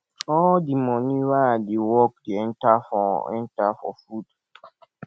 all di moni wey i dey work dey enta for enta for food